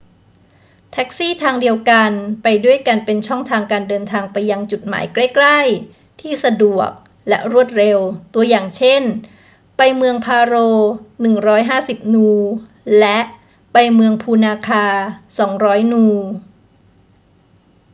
แท็กซี่ทางเดียวกันไปด้วยกันเป็นช่องทางการเดินทางไปยังจุดหมายใกล้ ๆ ที่สะดวกและรวดเร็ว ตัวอย่างเช่น ไป​เมืองพาโร 150 นู และ ไปเมืองพูนาคา 200 นู